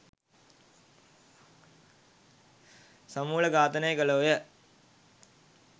සමුලඝාතනය කළෝ ය.